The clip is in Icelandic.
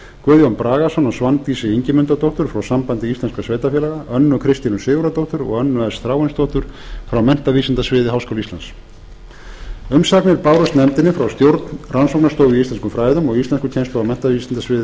guðjón bragason og svandísi ingimundardóttur frá sambandi íslenskra sveitarfélaga önnu kristínu sigurðardóttur og önnu s þráinsdóttur frá menntavísindasviði háskóla íslands umsagnir bárust nefndinni frá stjórn rannsóknarstofu í íslenskum fræðum og íslenskukennslu á menntavísindasviði